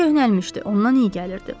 Su köhnəlmişdi, ondan iyi gəlirdi.